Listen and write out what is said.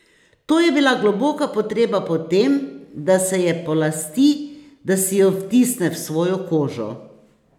To je bila globoka potreba po tem, da se je polasti, da si jo vtisne v svojo kožo.